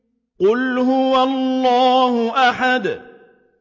قُلْ هُوَ اللَّهُ أَحَدٌ